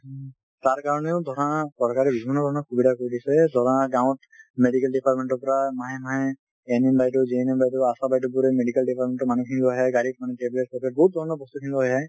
তাৰ কাৰণেও ধৰা চৰকাৰে বিভিন্ন ধৰণৰ সুবিধা কৰি দিছে , ধৰা গাঁৱত medical department ৰ পৰা মাহে মাহে NM বাইদেউ, GNM বাইদেউ, আশা বাইদেউ বোৰে medical department ৰ মানুহ খিনি লৈ আহে বহুত ধৰনৰ বস্তু খিনি লৈ আহে